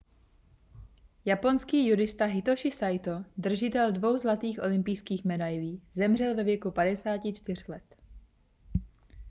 japonský judista hitoši saito držitel dvou zlatých olympijských medailí zemřel ve věku 54 let